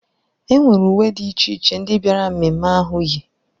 E nwere uwe dị iche iche ndị bịara ememme ahụ yi.